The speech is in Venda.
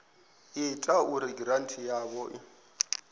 ita uri giranthi yavho i